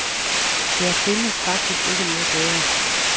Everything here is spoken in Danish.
Der findes faktisk ikke noget bedre.